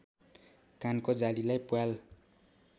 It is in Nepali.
कानको जालीलाई प्वाल